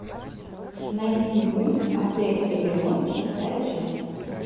найти мульт отель элеон шестая часть